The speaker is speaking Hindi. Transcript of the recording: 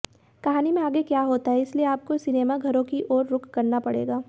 कहानी में आगे क्या होता है इसलिए आपको सिनेमाघरों की ओर रुख करना पडेगा